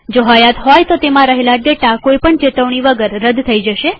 જો હયાત હોય તો તેમાં રહેલ ડેટા કોઈ પણ ચેતવણી વગર રદ થઇ જાય છે